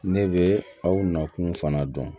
Ne bɛ aw nakun fana dɔn